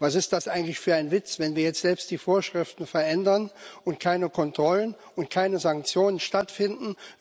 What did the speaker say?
Was ist das eigentlich für ein Witz, wenn wir jetzt selbst die Vorschriften verändern und keine Kontrollen und keine Sanktionen stattfinden?